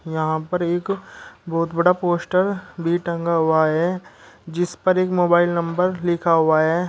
यहाँ पर एक बहुत बड़ा पोस्टर भी टंगा हुआ है जिस पर एक मोबाइल नंबर लिखा हुआ है।